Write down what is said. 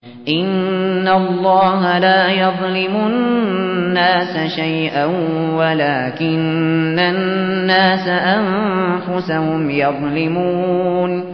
إِنَّ اللَّهَ لَا يَظْلِمُ النَّاسَ شَيْئًا وَلَٰكِنَّ النَّاسَ أَنفُسَهُمْ يَظْلِمُونَ